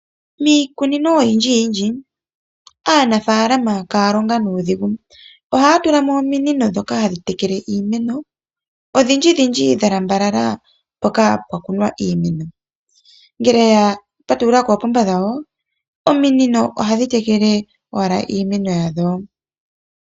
Miikunino oyindji yindji , aanafalama kaya longa nuudhigu. Ohaa tulamo ominino dhono hadhi tekele iimeno, odhindji dhindji dha lambalala mpoka pwakunwa iimeno . Ngele ya patulula koopomba dhawo, ominino ohadhi tekele wala iimeno yadho.